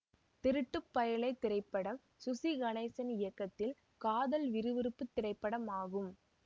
திருட்டு பயலே திரைப்படம் சுசி கணேசன் இயக்கத்தில் காதல் விறுவிறுப்புத் திரைப்படமாகும்